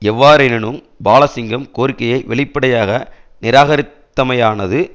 எவ்வாறெனினும் பாலசிங்கம் கோரிக்கையை வெளிப்படையாக நிராகரித்தமையானது